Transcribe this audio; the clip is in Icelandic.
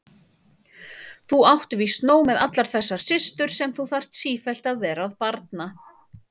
Þú átt víst nóg með allar þessar systur sem þú þarf sífellt vera að barna.